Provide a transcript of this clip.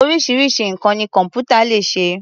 Oríṣiríṣi nǹkan ni kọ̀m̀pútà lè ṣe.